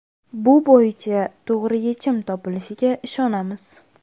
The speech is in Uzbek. Bu bo‘yicha to‘g‘ri yechim topilishiga ishonamiz.